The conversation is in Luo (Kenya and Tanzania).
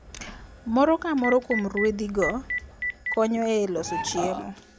Moro ka moro kuom ruedhigo konyo e loso chiemo.